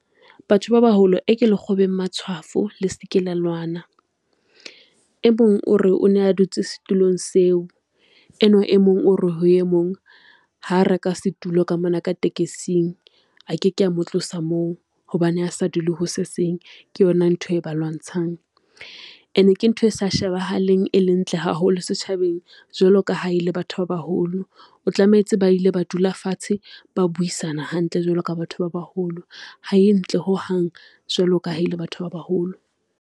Batho ba baholo e ke le kgobeng matshwafo le se ke la lwana. E mong o re o ne a dutse setulong seo, enwa e mong o re ho e mong ha reka setulo ka mona ka tekesing a ke ke a mo tlosa moo, hobane ha sa dule ho se seng. Ke yona ntho e ba lwantshang ene ke ntho e se shebahalang e leng ntle haholo setjhabeng. Jwalo ka ha e le batho ba baholo, o tlametse ba ile ba dula fatshe ba buisana hantle jwalo ka batho ba baholo, ha e ntle hohang, jwalo ka ha e le batho ba baholo.